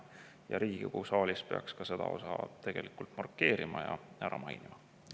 Ja Riigikogu saalis peaks ka seda markeerima ja.